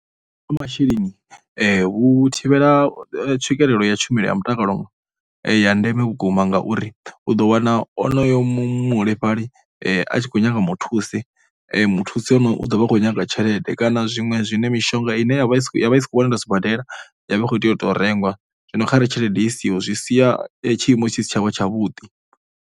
Kha masheleni hu thivhela tswikelelo ya tshumelo ya mutakalo ya ndeme vhukuma ngauri u ḓo wana onoyo muholefhali a tshi khou nyanga muthusi, muthusi onoyo u ḓo vha khou nyaga tshelede kana zwiṅwe zwine mishonga ine ya vha ya vha i sa khou wanala sibadela ya vha i kho tea, u tou u rengwa. Zwino kha re tshelede i siho zwi sia tshiimo tshi si tsha vha tshavhuḓi.